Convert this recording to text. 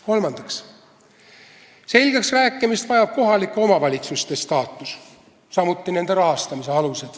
Kolmandaks, selgeksrääkimist vajab kohalike omavalitsuste staatus, samuti nende rahastamise alus.